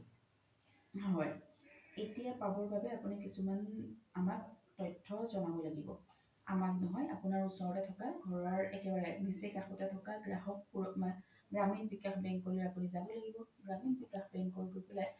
হয় এতিয়া পাবৰ বাবে আপোনি কিছুমান আমাক তথ্য জ্নাব লগিব অমাক নহয় আপোনাৰ ওচৰতে থকা ঘৰৰ একেবাৰে নিচে কাখতে থকা গ্ৰাহক গ্ৰামীণ বিকাশ বেংকলৈ আপোনি যাব লাগিব গ্ৰামীণ বিকাশ বেংকক গৈ পেলাই